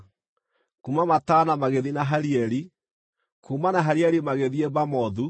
kuuma Matana magĩthiĩ Nahalieli, kuuma Nahalieli magĩthiĩ Bamothu,